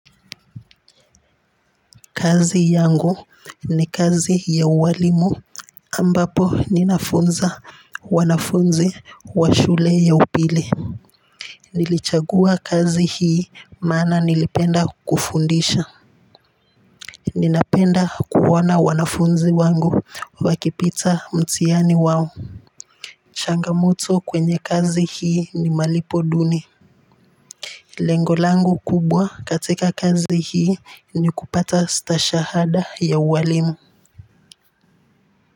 Kazi yangu ni kazi ya ualimu ambapo ninafunza wanafunzi wa shule ya upili nilichagua kazi hii maana nilipenda kufundisha ninapenda kuona wanafunzi wangu wakipita mtihani wao changamoto kwenye kazi hii ni malipo duni lengo langu kubwa katika kazi hii ni kupata stashahada ya uwalimu.